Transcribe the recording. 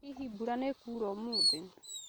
Hihi mbura nĩ kuura ũmũthĩ